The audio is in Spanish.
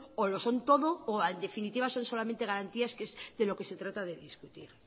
o lo son todo o en definitiva son solamente garantías que es de lo que se trata de discutir